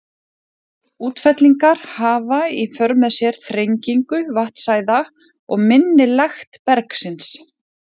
Slíkar útfellingar hafa í för með sér þrengingu vatnsæða og minni lekt bergsins.